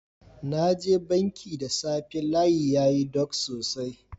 Na je banki da safe, layin yayi dog sosai.